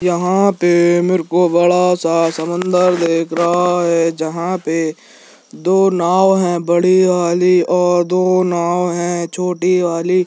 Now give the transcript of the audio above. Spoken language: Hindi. यहाँ पे मेरे को बड़ा सा समुंदर दिख रहा है जहाँ पे दो नाव हैं बड़ी वाली और दो नाव हैं छोटी वाली|